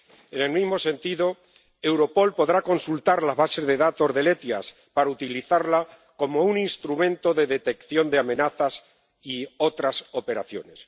En el mismo sentido, Europol podrá consultar las bases de datos del SEIAV para utilizarlas como un instrumento de detección de amenazas y otras operaciones.